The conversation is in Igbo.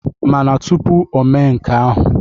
Mana tụpụ ome nke ahụ,